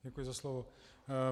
Děkuji za slovo.